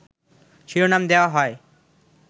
শিরোনাম দেয়া হয়